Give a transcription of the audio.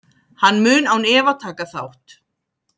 Hann mun án efa taka þátt.